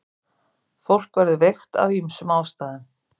Fólk verður veikt af ýmsum ástæðum.